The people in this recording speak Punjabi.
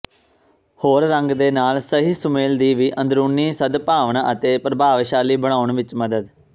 ਹੋਰ ਰੰਗ ਦੇ ਨਾਲ ਸਹੀ ਸੁਮੇਲ ਦੀ ਵੀ ਅੰਦਰੂਨੀ ਸਦਭਾਵਨਾ ਅਤੇ ਪ੍ਰਭਾਵਸ਼ਾਲੀ ਬਣਾਉਣ ਵਿੱਚ ਮਦਦ